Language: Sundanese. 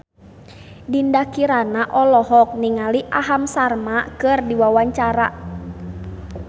Dinda Kirana olohok ningali Aham Sharma keur diwawancara